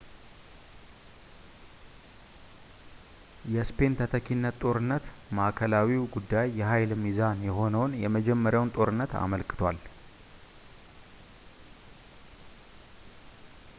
የስፔን ተተኪነት ጦርነት ማዕከላዊው ጉዳይ የኃይል ሚዛን የሆነውን የመጀመሪያውን ጦርነት አመልክቷል